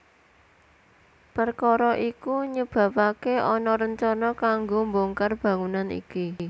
Perkara iku nyebabake ana rencana kanggo mbongkar bangunan iki